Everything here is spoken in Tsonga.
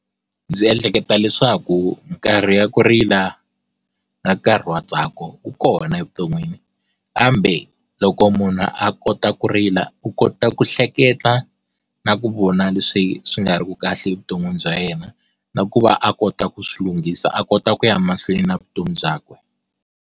Ndzi ehleketa leswaku nkarhi wa ku rila na nkarhi wa ntsako wu kona evuton'wini kambe loko munhu a kota ku rila, u kota ku hleketa na ku vona leswi swi nga ri ku kahle evuton'wini bya yena na ku va a kota ku swilunghisa a kota ku ya mahlweni na vutomi byakwe.